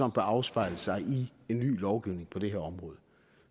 afspejle sig i en ny lovgivning på det her område